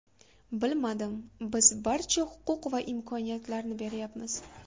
Bilmadim, biz barcha huquq va imkoniyatlarni beryapmiz.